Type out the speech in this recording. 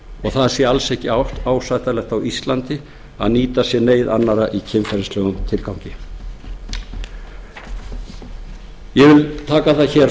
og það sé alls ekki ásættanlegt á íslandi að nýta sér neyð annarra í kynferðislegum tilgangi ég vil taka það hér